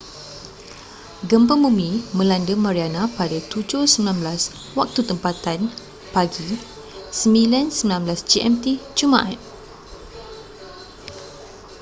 gempa bumi melanda mariana pada 07:19 waktu tempatan pg 09:19 gmt jumaat